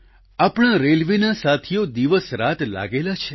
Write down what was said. આપણા રેલવેના સાથીઓ દિવસરાત લાગેલા છે